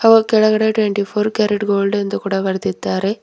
ಕೆಳಗಡೆ twenty four carat gold ಎಂದು ಕೂಡ ಬರೆದಿದ್ದಾರೆ.